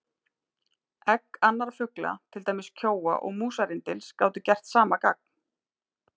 Egg annarra fugla, til dæmis kjóa og músarrindils, gátu gert sama gagn.